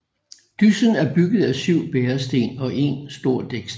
Dyssen er bygget af syv bæresten og en stor dæksten